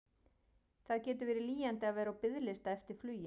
Það getur verið lýjandi að vera á biðlista eftir flugi.